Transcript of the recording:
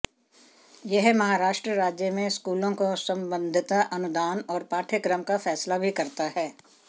यह महाराष्ट्र राज्य में स्कूलों को संबद्धता अनुदान और पाठ्यक्रम का फैसला भी करता है